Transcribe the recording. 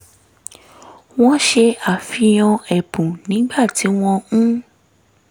wọ́n ṣe àfihàn ẹ̀bùn nígbà tí wọ́n ń